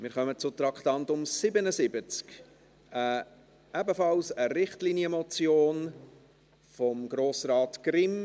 Wir kommen zum Traktandum 77, ebenfalls einer Richtlinienmotion, von Grossrat Grimm.